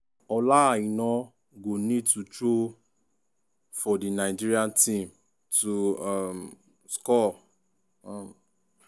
ola aina go need dey throw for di nigeria team to um score. um